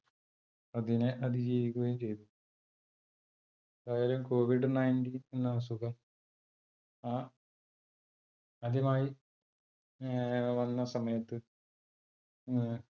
അതിനെ അതിജീവിക്കുകയും ചെയ്തു. എന്തായാലും covid nineteen എന്ന അസുഖം ആദ്യമായി വന്ന സമയത്ത്